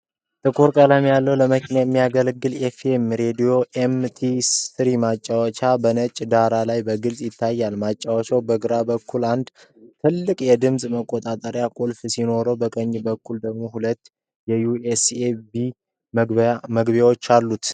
ጥቁር ቀለም ያለው ለመኪና የሚያገለግል ኤፍ.ኤም. (FM) ሬድዮና ኤም.ፒ.3 ማጫወቻ በነጭ ዳራ ላይ በግልፅ ይታያል። ማጫወቻው በግራ በኩል አንድ ትልቅ የድምፅ መቆጣጠሪያ ቁልፍ ሲኖረው፣ በቀኝ በኩል ደግሞ ሁለት የዩ.ኤስ.ቢ (USB) መግቢያዎች አሉት።